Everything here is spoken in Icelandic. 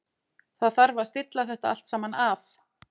Það þarf að stilla þetta allt saman af.